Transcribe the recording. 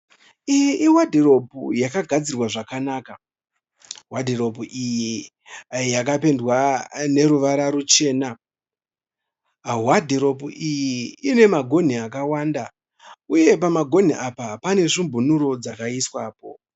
Iyi i wadhirobhu yakagadzirwa zvakanaka . Wadhurobhu iyi yakapendwa ne ruvara ruchena. Wadhirobhu iyi ina magonhi akawanda uye pamagonhi apa pane svumbunuro dzakaiswapo.